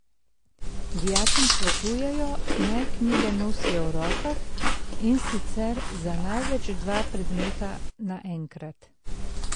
Dijakom svetujejo, naj knjige nosijo v rokah, in sicer za največ dva predmeta na enkrat.